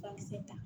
Bakisɛ ta